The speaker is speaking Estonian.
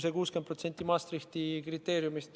See 60% tuleb Maastrichti kriteeriumidest.